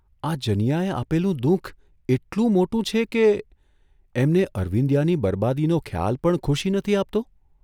આ જનીયાએ આપેલું દુઃખ એટલું મોટું છે કે, એમને અરવિંદીયાની બરબાદીનો ખ્યાલ પણ ખુશી નથી આપતો?